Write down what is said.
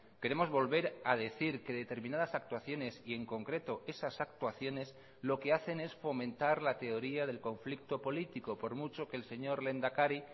queremos volver a decir que determinadas actuaciones y en concreto esas actuaciones lo que hacen es fomentar la teoría del conflicto político por mucho que el señor lehendakari